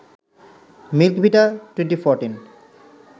milk Vita 2014